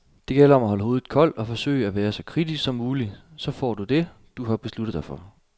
Det gælder om at holde hovedet koldt og forsøge at være så kritisk som muligt, så du får det, du har besluttet dig for.